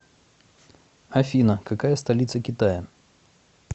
афина какая столица китая